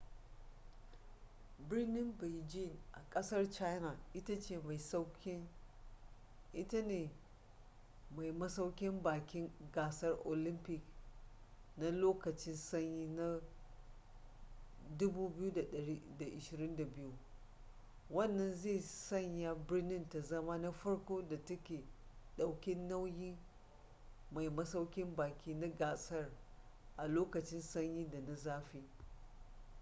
birnin beijing a kasar china ita ce mai masaukin baki gasar olympic na lokacin sanyi na 2022 wannan zai sanya birnin ta zama na farko da ta daukin nauyin mai masaukin baki na gasar a lokacin sanyin da na zafi